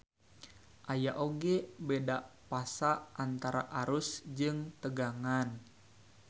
Aya oge beda fasa antara arus jeung tegangan.